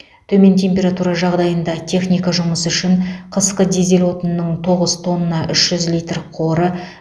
төмен температура жағдайында техника жұмысы үшін қысқы дизель отынының тоғыз тонна үш жүз литр қоры